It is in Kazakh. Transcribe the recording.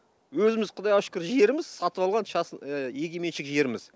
өзіміз құдайға шүкір жеріміз сатып алған егеменшік жеріміз